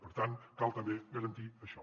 per tant cal també garantir això